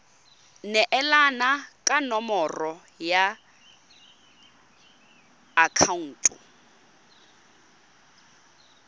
neelana ka nomoro ya akhaonto